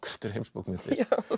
þetta eru heimsbókmenntir